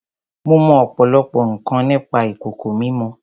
Mo mọ ọ̀pọ̀lọpọ̀ nǹkan nípa ìkòkò mímọ.